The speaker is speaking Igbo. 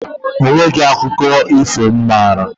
Mba, o nweghi akụkọ ifo m maara